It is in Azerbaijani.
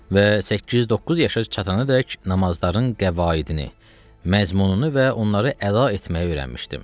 Və 8-9 yaşa çatanaədək namazların qəvaidini, məzmununu və onları əda etməyi öyrənmişdim.